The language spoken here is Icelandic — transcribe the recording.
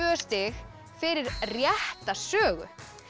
stig fyrir rétta sögu